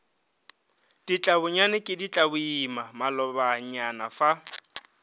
ditlabonyane ke ditlaboima malobanyana fa